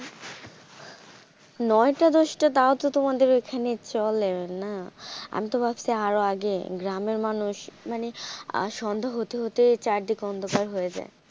নয়টা দশটা তাও তো তোমাদের ওখানে চলে না আমি তো ভাবছি আরো আগে গ্রামের মানুষ মানে সন্ধ্যা হতে হতে চারিদিক অন্ধকার হয়ে যাই।